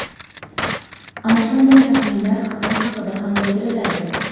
Ana shunday taxminlar Xitoy haqida ham bildiriladi.